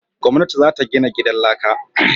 Gwamnati za ta gina gidan laka